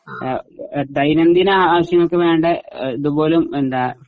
ആ ദൈനംദിന ആവശ്യങ്ങൾക്ക് വേണ്ട ഇതുപോലും എന്താ